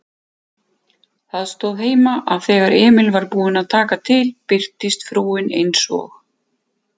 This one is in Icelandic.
Það stóð heima, að þegar Emil var búinn að taka til birtist frúin eins og